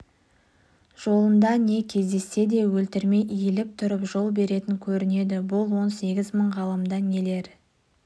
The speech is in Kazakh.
жолында не кездессе де өлтірмей иіліп тұрып жол беретін көрінеді бұл он сегіз мың ғаламда нелер